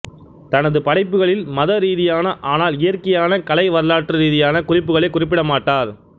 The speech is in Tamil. தனது படைப்புகளில் மத ரீதியான ஆனால் இயற்கையான கலை வரலாற்று ரீதியான குறிப்புகளைக் குறிப்பிடமாட்டார்